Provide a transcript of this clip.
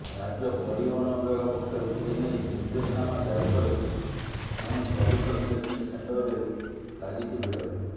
ରାଜ୍ୟ ପରିବହନ ବିଭାଗ ପକ୍ଷରୁ ଏନେଇ ନିର୍ଦ୍ଦେଶନାମା ଜାରି ପରେ ପୁଣି ପଲ୍ୟୁସନ୍ ଟେଷ୍ଟିଂ ସେଣ୍ଟରରେ ଲାଗିଛି ଭିଡ